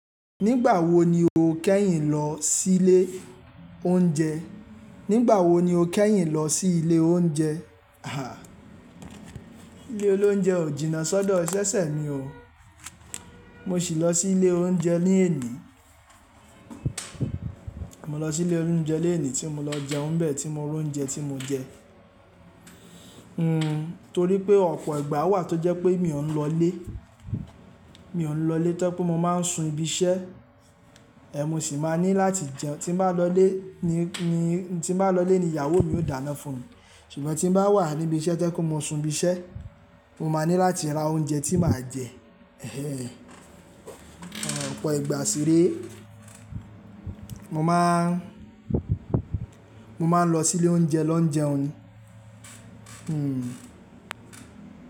Nígbà wo ni o kẹ́yìn lọ sílé oúnjẹ? Nígbà wo ni o kẹ́yìn lọ sí ilé oúnjẹ? Àh. Ilé olóúnjẹ ò jìnnà sọ́dọ̀-- sẹ́sẹ́ mi o. Mo sì lọ sí ilé oúnjẹ ni èní. Mo lọsí ilé oúnjẹ léèní tí mo lọ jẹun n bè tí mo ra oúnjẹ tí mo jẹ. Hmm, torí pé ọ̀pọ̀ ìgbà wà tó jẹ́ pé mi ò ń lọlé. Mi ò ń lọlé tó jẹ́ pé mo máa ń sun ibi iṣẹ́. Ẹ̀ mo sì máa ní láti jẹun. Tí n bá lọlé ni, ní, tí n bá lọlé ni ìyàwó mi ó dáná fún mi. Ṣùgbọ́n tí n bá wà níbi iṣẹ́ tó jẹ́ pé mo sun ibi iṣẹ́, mo máa ní láti ra oúnjẹ tí màá jẹ. Ọ̀pọ̀ ìgbà sì réé. Mo máa ń, mo máa ń lọ sílé oúnjẹ lọ ń jẹun ni.